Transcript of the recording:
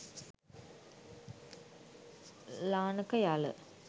lanaka yala